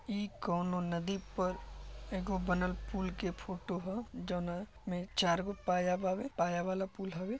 ई कौनो नदी पर एगो बनल पुल के फोटो ह जवना में चार गो पाया बावे पाया वाला पुल हवे।